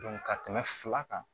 ka tɛmɛ fila kan